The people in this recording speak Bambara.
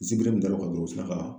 N sigilen kan dɔrɔn u sinna ka